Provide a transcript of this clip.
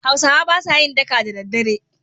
Hausawa ba sa yin daka da daddare.